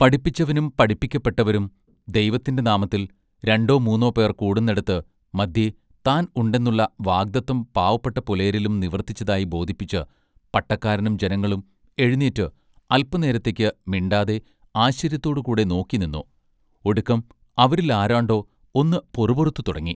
പഠിപ്പിച്ചവനും പഠിപ്പിക്കപ്പെട്ടവരും “ദൈവത്തിന്റെ നാമത്തിൽ രണ്ടൊ മൂന്നൊ പേർ കൂടുന്നെടത്ത് മദ്ധ്യെ താൻ ഉണ്ടെന്നുള്ള വാഗ്ദത്തം പാവപ്പെട്ട പുലയരിലും നിവൃത്തിച്ചതായി ബോധിപ്പിച്ച് പട്ടക്കാരനും ജനങ്ങളും എഴുനീറ്റ് അല്പ നേരത്തെക്ക് മിണ്ടാതെ ആശ്ചര്യത്തോടു കൂടെ നോക്കിനിന്നു ഒടുക്കം അവരിൽ ആരാണ്ടൊ ഒന്ന് പൊറുപൊറുത്തു തുടങ്ങി.